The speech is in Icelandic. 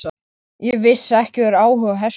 Ég vissi ekki að þú hefðir áhuga á hestum.